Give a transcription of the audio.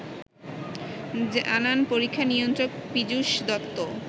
জানান পরীক্ষা নিয়ন্ত্রক পিযুষ দত্ত